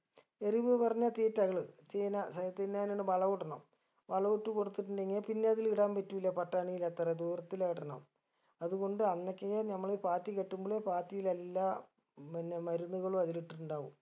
എരുവ് പറഞ്ഞാ തീറ്റകള് ചീന തിന്നാനുള്ള വളവു ഇടണം വളോ ഇട്ട് കൊടുത്തുട്ടുണ്ടെങ്കി പിന്നെ അതില് ഇടാൻ പറ്റൂല പട്ടാണിയിൽ അത്ര ദൂരത്തിലഇടണം അതുകൊണ്ട് അന്നക്കേ നമ്മള് പാത്തി കെട്ടുമ്പളെ പാത്തിലെല്ലാം പിന്നെ മരുന്നുകളും അതിലിട്ടിട്ടുണ്ടാവും